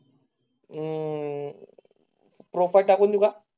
उम. प्रोफ टाकून बघा.